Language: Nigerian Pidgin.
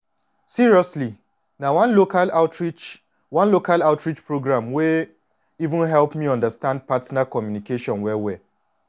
seriously na one local outreach one local outreach program wey even help me understand partner communication well well